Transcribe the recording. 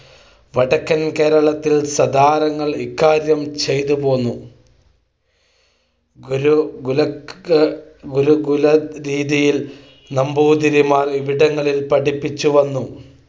വടക്കൻ കേരളത്തിൽ സതാരങ്ങൾ ഇക്കാര്യം ചെയ്തുപോന്നു. ഗുരുകുലരീതിയിൽ നമ്പൂതിരിമാർ ഇവിടങ്ങളിൽ പഠിപ്പിച്ചുവന്നു.